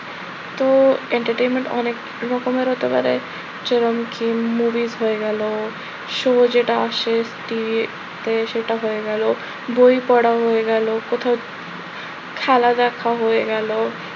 তো entertainment অনেক রকমের হতে পারে। যেরকম কিম হয়ে গেল, শুভ যেটা আসে সেটা হয়ে গেল, বই পড়া হয়ে গেল, কোথাও খেলা দেখা হয়ে গেল,